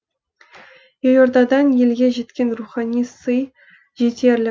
елордадан елге жеткен рухани сый жетерлік